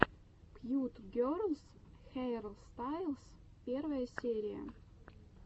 кьют герлс хейрстайлс первая серия